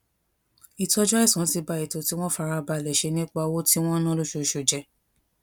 ìtójú àìsàn ti ba ètò tí wón ti fara balè ṣe nípa owó tí wón ń ná lóṣooṣù jé